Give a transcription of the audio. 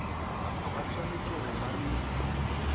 ba swanetše go ba le